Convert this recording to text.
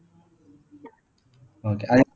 okay